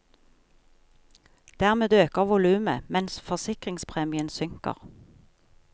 Dermed øker volumet, mens forsikringspremien synker.